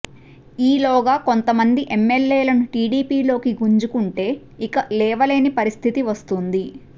ఈలోగా కొంతమంది ఎమ్మెల్యేలను టిడిపిలోకి గుంజుకుంటే ఇక లేవలేని పరిస్థితి వస్తుంది